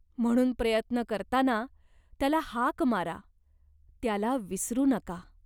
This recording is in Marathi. म्हणून प्रयत्न करताना त्याला हाक मारा. त्याला विसरू नका.